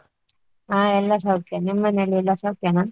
ಹಾ ಎಲ್ಲ ಸೌಖ್ಯ, ನಿಮ್ಮನೆಲೆಲ್ಲಾ ಸೌಖ್ಯನ?